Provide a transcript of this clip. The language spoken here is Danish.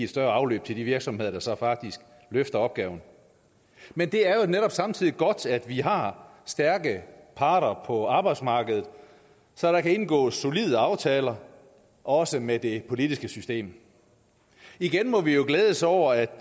større afløb til de virksomheder der så faktisk løfter opgaven men det er jo netop samtidig godt at vi har stærke parter på arbejdsmarkedet så der kan indgås solide aftaler også med det politiske system igen må vi jo glædes over at